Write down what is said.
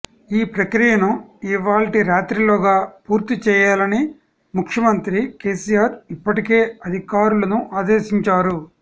ఈ ప్రక్రియను ఇవాళ్టి రాత్రిలోగా పూర్తి చేయాలని ముఖ్యమంత్రి కేసీఆర్ ఇప్పటికే అధికారులను ఆదేశించారు